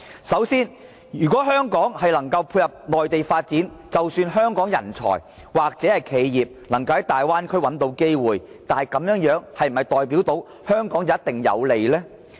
首先，如果香港能配合內地發展，即使香港人才或企業能在大灣區找到機會，但這是否代表必定有利於香港呢？